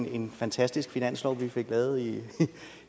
er en fantastisk finanslov vi fik lavet